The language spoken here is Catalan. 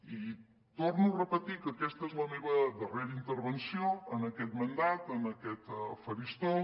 i torno a repetir que aquesta és la meva darrera intervenció en aquest mandat en aquest faristol